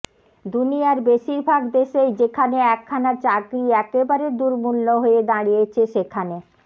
দুনিয়ার বেশিরভাগ দেশেই যেখানে একখানা চাকরি একেবারে দুর্মূল্য হয়ে দাঁড়িয়েছে সেখানে